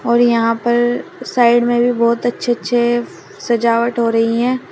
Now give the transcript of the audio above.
और यहां पर साइड में भी बहुत अच्छे अच्छे सजावट हो रही हैं।